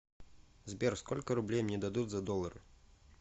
сбер сколько рублей мне дадут за доллары